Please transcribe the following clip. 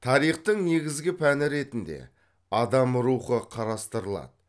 тарихтың негізгі пәні ретінде адам рухы қарастырылады